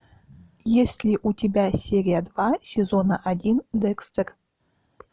есть ли у тебя серия два сезона один декстер